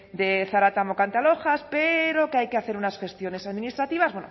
de zaratamo cantalojas pero que hay que hacer unas gestiones administrativas